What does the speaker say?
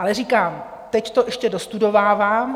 Ale říkám, teď to ještě dostudovávám.